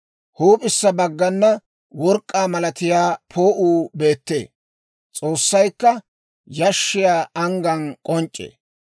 Huup'issa baggana work'k'aa malatiyaa poo'uu beettee; S'oossaykka yashshiyaa anggan k'onc'c'ee.